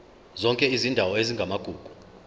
zonke izindawo ezingamagugu